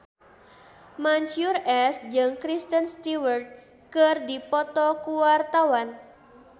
Mansyur S jeung Kristen Stewart keur dipoto ku wartawan